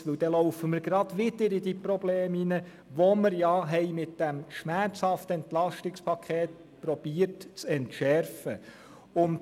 Denn dann laufen wir gerade wieder in die Probleme hinein, die wir mit diesem schmerzhaften EP zu entschärfen versuchten.